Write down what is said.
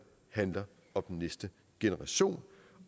handler om den næste generation